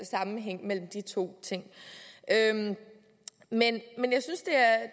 sammenhæng mellem de to ting men